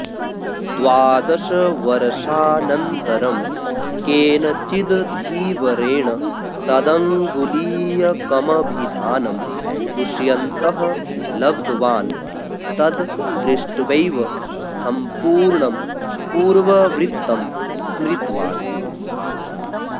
द्वादशवर्षानन्तरं केनचिद् धीवरेण तदंगुलीयकमभिधानं दुष्यन्तः लब्धवान् तद् दृष्ट्वैव संपूर्णं पूर्ववृत्तं स्मृतवान्